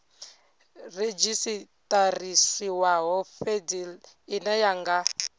redzhisiṱarisiwaho fhedzi ine ya nga